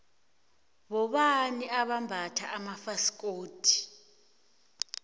bobani abambatha amafasikodu